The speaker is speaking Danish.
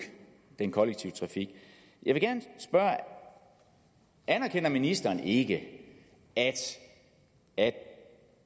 den kollektive trafik jeg vil gerne spørge anerkender ministeren ikke at at